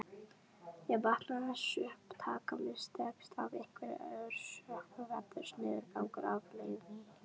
Ef vatnsupptakan mistekst af einhverjum orsökum verður niðurgangur afleiðingin.